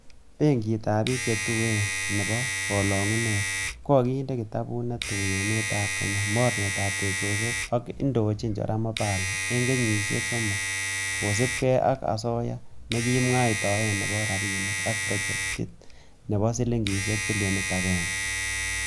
Benkitab bik che tuen nebo kolungunet, kokinde kitabut netui emetab Kenya mornetab teksosiek ak ne indonchin Joram opala en kenyisiek somok kosiibge ak asoya nekikimwaitaen nebo rabinik ab projektit nebo silingisiek bilionit agenge.